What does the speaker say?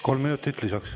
Kolm minutit lisaks.